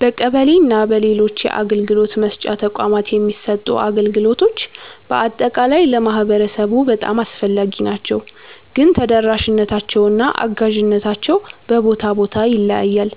በቀበሌ እና በሌሎች የአገልግሎት መስጫ ተቋማት የሚሰጡ አገልግሎቶች በአጠቃላይ ለማህበረሰቡ በጣም አስፈላጊ ናቸው፣ ግን ተደራሽነታቸው እና አጋዥነታቸው በቦታ ቦታ ይለያያል።